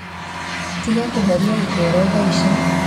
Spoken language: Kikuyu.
Tiga kũhoria gikero thaici.